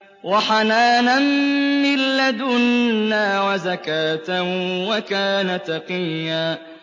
وَحَنَانًا مِّن لَّدُنَّا وَزَكَاةً ۖ وَكَانَ تَقِيًّا